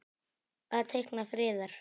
Að teikna friðar.